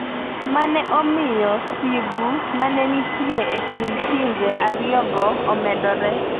ma ne omiyo sigu ma ne nitie e kind pinje ariyogo omedore.